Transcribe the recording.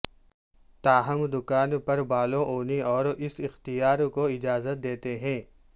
تاہم دکان پر بالوں اونی اور اس اختیار کو اجازت دیتے ہیں